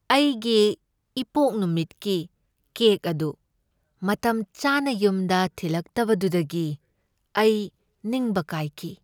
ꯑꯩꯒꯤ ꯏꯄꯣꯛ ꯅꯨꯃꯤꯠꯀꯤ ꯀꯦꯛ ꯑꯗꯨ ꯃꯇꯝꯆꯥꯅ ꯌꯨꯝꯗ ꯊꯤꯜꯂꯛꯇꯕꯗꯨꯗꯒꯤ ꯑꯩ ꯅꯤꯡꯕ ꯀꯥꯏꯈꯤ꯫